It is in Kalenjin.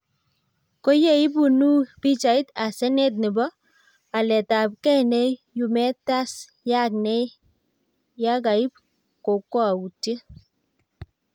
koyeiponuu pichait ase net neboo waletabgei no yumeet tas yaak nee yekaiib kokowoutiet